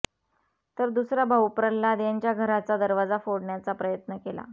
तर दुसरा भाऊ प्रल्हाद यांच्या घराच्या दरवाजा फोडण्याचा प्रयत्न केला